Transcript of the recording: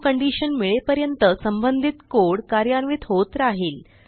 true condition मिळेपर्यंत संबंधित code कार्यान्वित होत राहिल